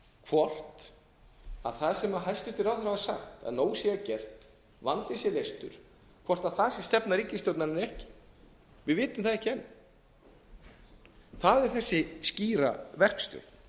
hvort það sem hæstvirtir ráðherrar hafa sagt að nóg sé að gert vandinn sé leystur hvort það sé stefna ríkisstjórnarinnar eða ekki við vitum það ekki enn það er þessi skýra verkstjórn